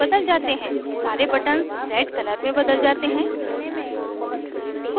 सारे buttons red color में बदल जाते हैं